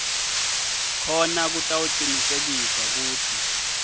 khona kutawucinisekiswa kutsi